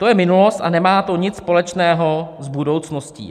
To je minulost a nemá to nic společného s budoucností."